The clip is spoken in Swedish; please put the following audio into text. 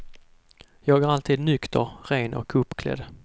Jag är alltid nykter, ren och uppklädd.